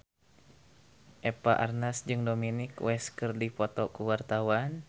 Eva Arnaz jeung Dominic West keur dipoto ku wartawan